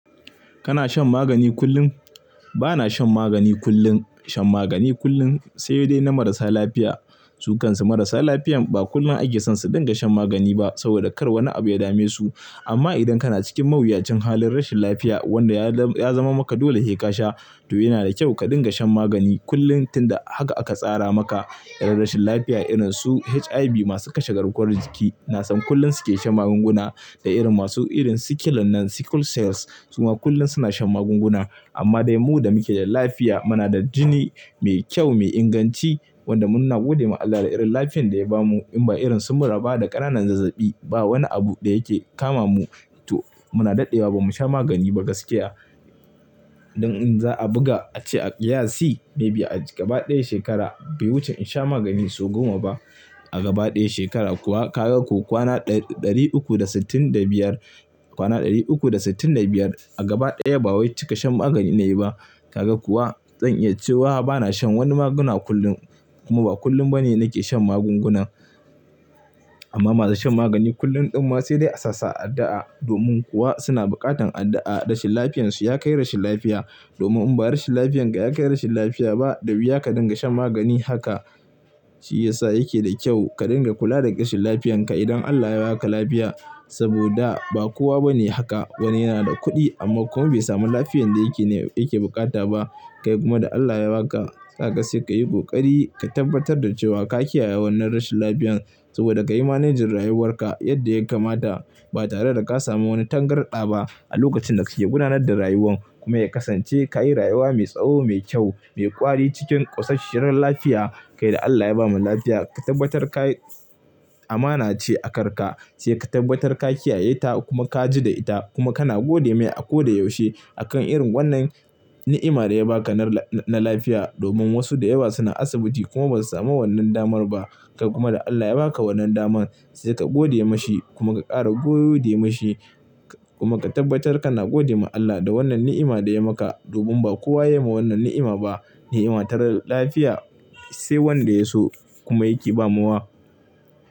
Kana shan magani kullum? Ba na shan magani kullum. Shan magani kullum sai dai na marasa lafiya. Sukansu marasa lafiyan ba kullum ake son su dinga shan magani ba saboda kar wani abu ya dame su. Amma idan kana cikin mawuyacin halin rashin lafiya wanda ya zama maka dole he ka sha, to ina da kyau ka dinga shan magani kullum tun da haka aka tsara maka. Irin rashin lafiya irin su HIV masu kasha garkuwar jiki, na san kullum suke shan magunguna. Da irin masu irin sickle nan sickle cells, su ma kullum suna shan magunguna. Amma dai mu da muke da lafiya, muna da jini mai kyau, mai inganci wanda mun na gode ma Allah da irin lafiyan da ya bamu in ba irin sumura ba da ƙananan zazzabi, ba wani abu da yake kama mu, to muna daɗewa ba mu sha magani ba gaskiya. Don in za a buga, ace a ƙiyasi maybe a gaba ɗaya shekara bai wuce in sha magani sau goma ba. A gaba ɗaya shekara kuwa ka ga ko kwana ɗari uku da sittin da biyar, kwana ɗari uku da sittin da biyar a gaba ɗaya ba wai cika shan magani na yi ba. Ka ga kuwa? Zan ya ce wa bana shan wani maguna kullum kuma ba kullum ba ne nake shan magungunan. Amma masu shan magani kullum ɗan wa sai dai a sassa addu'a. Domin kuwa suna buƙatan addu'a rashin lafiyansu ya kai rashin lafiya. Domin in ba rashin lafiyanka ya kai rashin lafiya ba, da wuya ka dinga shan magani haka. Shi ya sa yake da kyau ka dinga kula da ƙashin lafiyanka idan Allah ya ba ka lafiya. Saboda ba kowa ba ne haka. Wani yana da kuɗi amma kuma bai sami lafiyan da yake ne yake bukata ba. Kai kuma da Allah ya ba ka, kaga sai ka yi ƙoƙari ka tabbatar da cewa ka kiyaye wannan rashin lafiyan. Saboda ka yi managing rayuwarka yadda ya kamata ba tare da ka sami wani tangarɗa ba a lokacin da kike gudanar da rayuwan. Kuma ya kasance ka yi rayuwa mai tsawo, mai kyau, mai ƙwari cikin ƙosasshen rashin lafiya. Kai da Allah ya bamu lafiya, ka tabbatar ka-- amana ce a karka, sai ka tabbatar ka kiyaye ta kuma ka ji da ita kuma kana gode mai a koda yaushe a kan irin wannan ni'ima da ya ba ka na lafiya. Domin wasu da yawa suna asibiti kuma ba su sami wannan damar ba. Kai kuma da Allah ya ba ka wannan daman, sai ka gode ma shi kuma ka ƙara godiya ma shi kuma ka tabbatar kana gode ma Allah da wannan ni'ima da ya maka. Domin ba kowa ya yi ma wannan ni'ima ba, ni'ima ta rashin lafiya, sai wanda ya so kuma yake ba mawa.